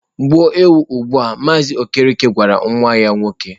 Gbuo ewu ugbua! Mazị Okereke gwara nwa ya nwoke.